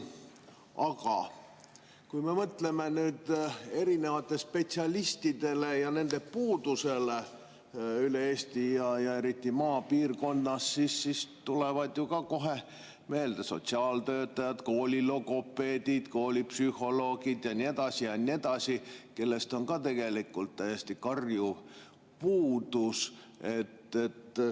Aga kui me mõtleme erinevate spetsialistide puudusele üle Eesti ja eriti maapiirkonnas, siis tulevad kohe meelde sotsiaaltöötajad, koolilogopeedid, koolipsühholoogid ja nii edasi ja nii edasi, kellest on tegelikult täiesti karjuv puudus.